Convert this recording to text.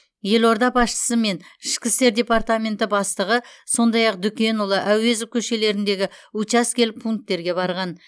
елорда басшысы мен ішкі істер департаменті бастығы сондаи ақ дүкенұлы әуезов көшелеріндегі учаскелік пунктерге барған